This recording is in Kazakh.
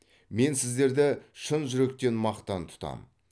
мен сіздерді шын жүректен мақтан тұтамын